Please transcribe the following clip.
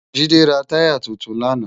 Jide rá tàyá tútún làná